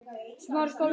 Þá það.